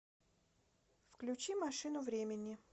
включи машину времени